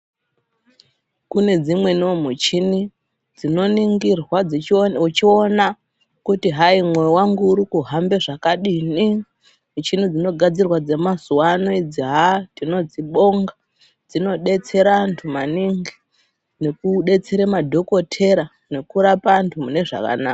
Kune dzimweniwo michini dzinoningirwa wechiona kuti hayi moyo hwangu urikuhambe zvakadini michini dzinogadzirwa dzemazuvano idzi haa tinodzibonga dzinobetsera antu maningi nekubetsera madhokodheya nekurapa antu mune zvakanaka.